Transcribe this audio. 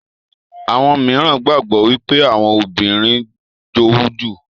àwọn míràn gbagbọ wipe Àwọn obìrin jowú jù.